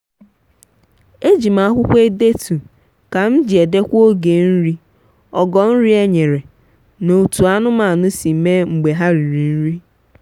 ejim akwụkwọ edetu ka m ji edekwa oge nri ogo nri e nyere na otú anụmanụ si mee mgbe ha riri nri